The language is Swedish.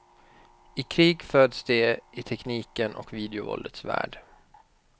I krig föds de, i teknikens och videovåldets värld.